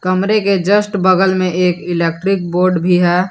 कमरे के जस्ट बगल में एक इलेक्ट्रिक बोर्ड भी है।